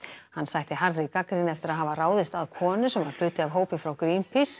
hann sætti harðri gagnrýni eftir að hafa ráðist að konu sem var hluti af hópi frá